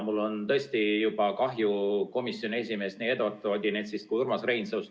Mul on tõesti juba kahju komisjoni esimeestest, nii Eduard Odinetsist kui ka Urmas Reinsalust.